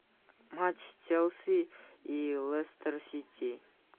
матч челси и лестер сити